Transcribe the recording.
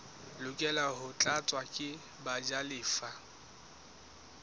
lokela ho tlatswa ke bajalefa